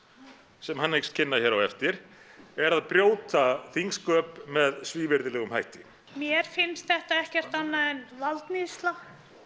sem hann hyggst kynna hér á eftir er að brjóta þingsköp með svívirðulegum hætti mér finnst þetta ekkert annað en valdníðsla